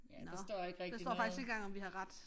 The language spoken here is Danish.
Ja der står ikke rigtig noget